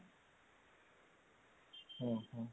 ଓଃ ହୋ